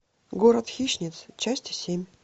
город хищниц часть семь